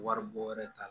Wari bɔ wɛrɛ t'a la